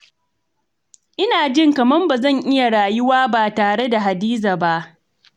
Ina jin kamar ba zan iya rayuwa ba tare da Hadiza ba.